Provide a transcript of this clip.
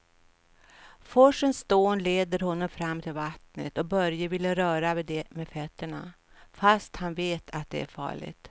Forsens dån leder honom fram till vattnet och Börje vill röra vid det med fötterna, fast han vet att det är farligt.